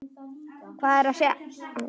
Hvað er þá að?